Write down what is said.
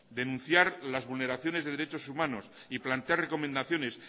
denunciar las vulneraciones de derechos humanos y plantear recomendaciones